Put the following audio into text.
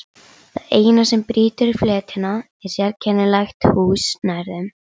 Það eina sem brýtur fletina er sérkennilegt hús nær þeim.